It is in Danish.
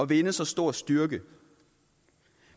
vinde så stor styrke